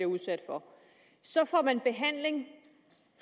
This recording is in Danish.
udsat for så får man behandling